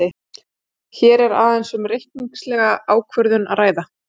Hér er aðeins um reikningslega ákvörðun að ræða.